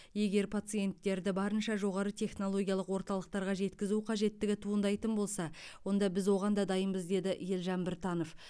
егер пациенттерді барынша жоғары технологиялық орталықтарға жеткізу қажеттігі туындайтын болса онда біз оған да дайынбыз деді елжан біртанов